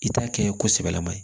I t'a kɛ ko sɛbɛlama ye